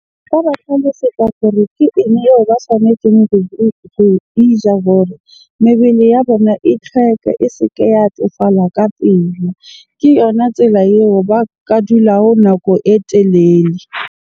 Nka ba tlhalosetsa hore ke eng eo ba tshwanetseng hore mebele ya bona e tlhweke, e se ke ya tsofala ka pele. Ke yona tsela eo ba ka dulago nako e telele